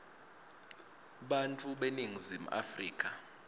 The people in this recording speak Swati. bantfu baseningizimu afrika